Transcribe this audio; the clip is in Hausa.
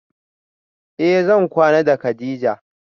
Eh zan kwana da kadija